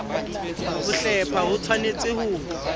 ho hlepha ho tshwanetse ho